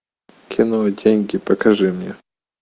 кино деньги покажи мне